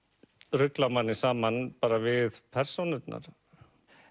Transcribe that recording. rugla manni saman bara við persónurnar